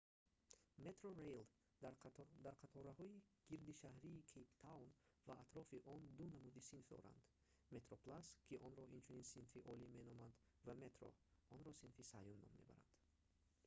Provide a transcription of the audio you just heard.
metrorail дар қатораҳои гирдишаҳрии кейптаун ва атрофи он ду намуди синф дорад: metroplus ки онро инчунин синфи олӣ меноманд ва metro онро синфи сеюм ном мебаранд